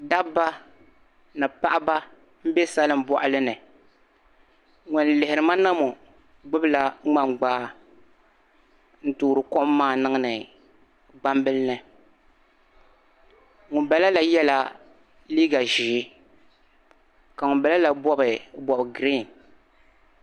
Dabba ni paɣiba. n. be salin bɔɣilini. ŋun lihirima naŋɔ gbubla mŋan gbaa n toori kom maa niŋdi gbam bilimni ŋum bala la yela liiga zɛɛ ka ŋum bala la bɔbi bɔb green